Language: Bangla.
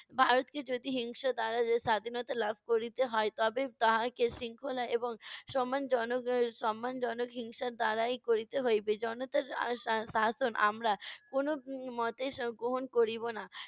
ভারতকে যদি হিংসা দ্বারা সা~ স্বাধীনতা লাভ করিতে হয় তবে তাহাকে শৃঙ্খলা এবং সম্মানজনক আহ সম্মানজনক হিংসা দ্বারাই করিতে হইবে। জনতার আহ সা~ শাসন আমরা কোনো এর মতে আহ গ্রহণ করিব না।